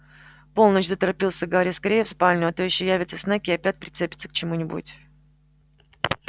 полночь заторопился гарри скорее в спальню а то ещё явится снегг и опять прицепится к чему-нибудь